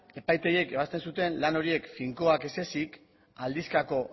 epaitegiek ebazten zuten lan horiek finkoak ez ezik aldizkako